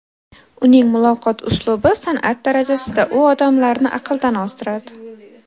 Uning muloqot uslubi san’at darajasida, u odamlarni aqldan ozdiradi”.